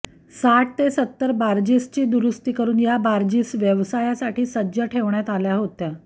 साठ ते सत्तर बार्जीसची दुरूस्ती करून या बार्जीस व्यवसायासाठी सज्ज ठेवण्यात आल्या होत्या